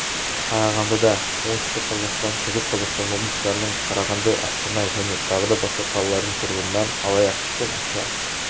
қарағандыда оңтүстік қазақстан шығыс қазақстан облыстарының қарағанды астана және тағы да басқа қалалардың тұрғынынан алаяқтықпен ақша